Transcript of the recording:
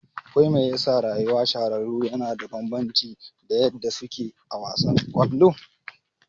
Wai mai yasa rayuwa shahararru yana da bambanci da yadda suke a wasan kwallon?